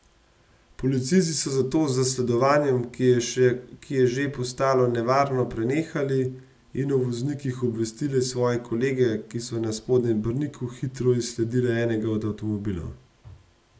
Policisti so zato z zasledovanjem, ki je že postalo nevarno, prenehali in o voznikih obvestili svoje kolege, ki so na Spodnjem Brniku hitro izsledile enega od avtomobilov.